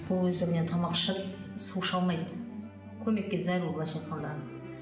ол өздігінен тамақ ішіп су іше алмайды көмекке зәру былайша айтқанда